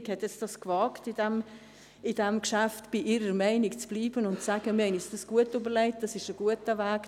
Die Regierung hat es in diesem Geschäft gewagt, bei ihrer Meinung zu bleiben und zu sagen: «Wir haben es uns gut überlegt, das ist ein guter Weg;